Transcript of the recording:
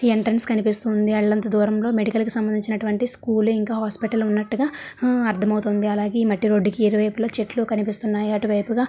Entrance కనిపిస్తుంది అల్లంత దూరం లో మెడికల్ కి సంబంధించినటువంటి స్కూల్ ఇంకా హాస్పిటల్ ఉన్నట్టుగా ఆ అర్ధమవుతుంది . అలాగే ఈ మట్టి రోడ్డు కి ఇరువైపులా చెట్లు కనిపిస్తున్నాయి అటువైపుగా--